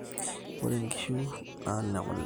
Ore nkiishu na nekule